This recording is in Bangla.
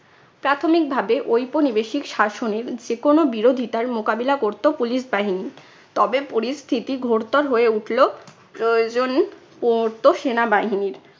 প্রাথমিক ভাবে ঔপনিবেশিক শাসনের যে কোনো বিরোধীতার মোকাবিলা করতো police বাহিনী। তবে পরিস্থিতি ঘোরতোর হয়ে উঠলো প্রয়োজন পড়তো সেনাবাহিনীর।